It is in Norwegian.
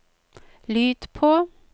lyd på